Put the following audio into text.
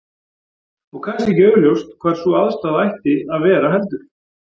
Og kannski ekki augljóst hvar sú aðstaða ætti að vera heldur?